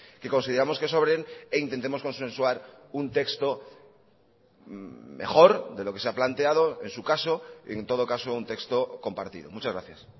que consideramos que sobren e intentemos consensuar un texto mejor de lo que se ha planteado en su caso en todo caso un texto compartido muchas gracias